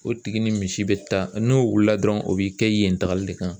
O tigi ni misi bɛ taa n'o wulila dɔrɔnw o bɛ i kɛ yen tagali de kan